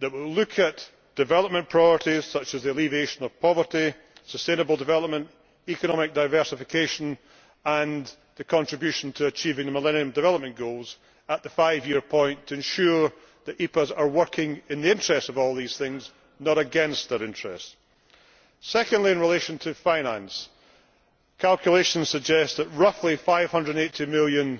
that we will look at development priorities, such as the alleviation of poverty, sustainable development, economic diversification and the contribution to achieving the Millennium Development Goals at the five year point to ensure that EPAs are working in the interests of all these things, not against their interests. Secondly, I would like to hear the Commissioner reassure us on the finance for EPAs. Calculations suggest that roughly EUR 580 million